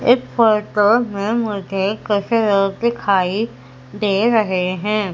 इस फोटो में मुझे कुछ लोग दिखाई दे रहे हैं।